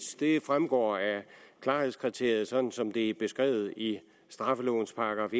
det fremgår af klarhedskriteriet sådan som det er beskrevet i straffelovens §